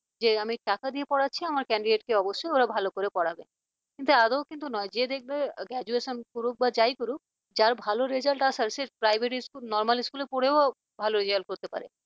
যে আমি টাকা দিয়ে পড়াচ্ছি আমার candidate কে ওরা অবশ্যই ভালো করে পড়াবে কিন্তু আগেও কিন্তু নয় যে দেখবে graduation করুক বা যাই করুক যার ভালো result আসার সে private school normal school পড়েও ভালো result করতে পারে